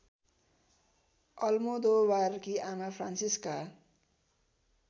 अलमोदोबारकी आमा फ्रान्सिस्का